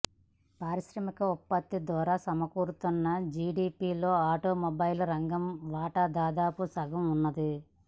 పారిశ్రామికోత్పత్తి ద్వారా సమకూరుతున్న జిడిపిలో ఆటోమొబైల్ రంగం వాటా దాదాపు సగంగా ఉన్నది